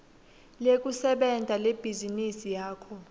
lekusebenta lebhizinisi yakho